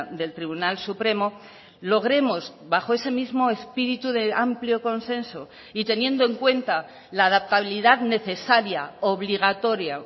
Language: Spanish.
del tribunal supremo logremos bajo ese mismo espíritu de amplio consenso y teniendo en cuenta la adaptabilidad necesaria obligatoria